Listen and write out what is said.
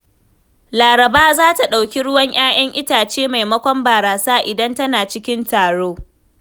Laraba za ta ɗauki ruwan 'ya'yan itace maimakon barasa idan tana cikin taro.